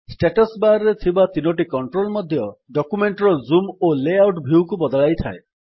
status bar ରେ ଥିବା ତିନୋଟି କଣ୍ଟ୍ରୋଲ୍ ମଧ୍ୟ ଡକ୍ୟୁମେଣ୍ଟ୍ ର ଜୁମ୍ ଓ ଲେ ଆଉଟ୍ ଭ୍ୟୁ ବଦଳାଇଥାଏ